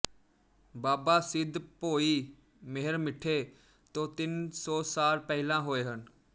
ਬਾਬਾ ਸਿੱਧ ਭੋਈ ਮਿਹਰਮਿੱਠੇ ਤੋਂ ਤਿੰਨ ਸੌ ਸਾਲ ਪਹਿਲਾਂ ਹੋਏ ਹਨ